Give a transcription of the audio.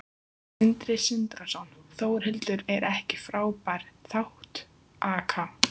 Sindri Sindrason: Þórhildur, er ekki frábær þátttaka?